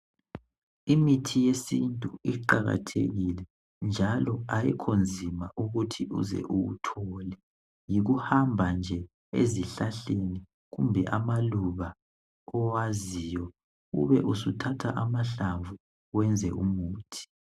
Imithi yesintu iqakathekile njalo ayikho inzima ukuthi uze uwuthole yikuhamba nje ezihlahleni kumbe amaluba kwaziyo ube usuthatha amahlamvu wenze umuthi